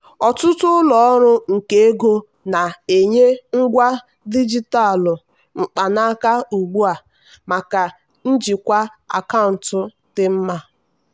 ọtụtụ ụlọ ọrụ nke ego na-enye ngwa dijitalụ mkpanaka ugbu a maka njikwa akaụntụ dị mma.